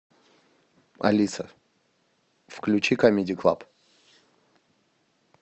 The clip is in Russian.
алиса включи камеди клаб